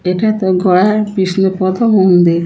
এটাতো গয়ার বিষ্ণুপ্রথ মন্দির ।